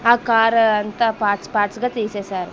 ఆ కారు అంతా parts parts గా తీసేశారు.